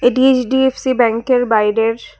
এটি এইচ_ডি_এফ_সি ব্যাংকের বাইরের--